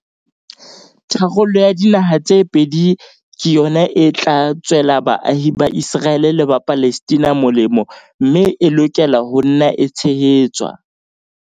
Tharollo ya dinaha tse pedi ke yona e tla tswela baahi ba Iseraele le ba Palestina molemo mme e lokela ho nna e tshehetswa.